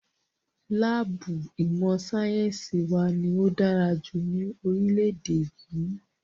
Láàbù ìmọ̀ sáyẹ́nsì wa ní o dára jùlọ ní orílẹ̀-èdè yìí.